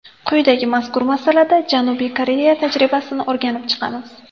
Quyida mazkur masalada Janubiy Koreya tajribasini o‘rganib chiqamiz.